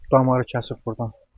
Damarı kəsib burdan.